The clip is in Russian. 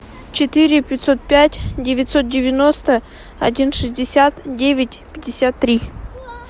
четыре пятьсот пять девятьсот девяносто один шестьдесят девять пятьдесят три